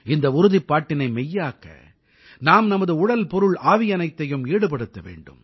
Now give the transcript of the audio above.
இந்த உறுதிப்பாட்டினை மெய்யாக்க நாம் நமது உடல் பொருள் ஆவியனைத்தையும் ஈடுபடுத்த வேண்டும்